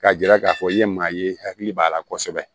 K'a jira k'a fɔ i ye maa ye i hakili b'a la kosɛbɛ